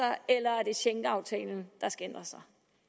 eller at schengenaftalen der skal ændres